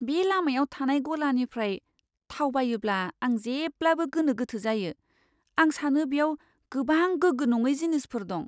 बे लामायाव थानाय गलानिफ्राय थाव बायोब्ला आं जेब्लाबो गोनो गोथो जायो। आं सानो बेयाव गोबां गोग्गो नङै जिनिसफोर दं।